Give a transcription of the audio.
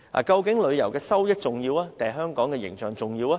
究竟旅遊收益重要，還是香港的形象重要？